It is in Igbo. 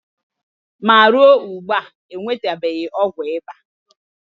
ma ruo ugbua, e nwetabeghị ọgwụ ịba.